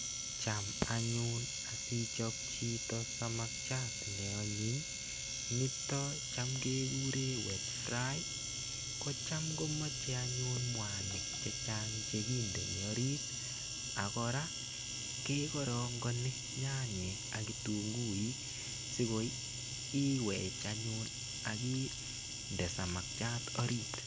Cham anyun asichop chito samakiat neanyiny nitok cham kekure wet fry kocham komochei anyun mwanik che chang chekindeni orit akora kekorongoni nyanyek ak kitunguik sikoi iwech anyun akinde samakchat orit.